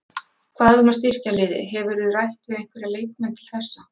Hvað um að styrkja liðið, hefurðu rætt við einhverja leikmenn til þessa?